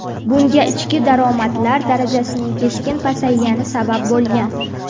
Bunga ichki daromadlar darajasining keskin pasaygani sabab bo‘lgan.